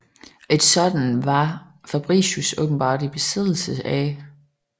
Et sådant var Fabricius åbenbart i besiddelse af